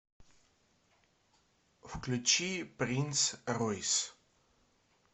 включи принц ройс